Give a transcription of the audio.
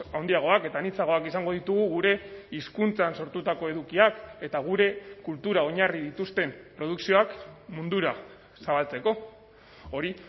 handiagoak eta anitzagoak izango ditugu gure hizkuntzan sortutako edukiak eta gure kultura oinarri dituzten produkzioak mundura zabaltzeko hori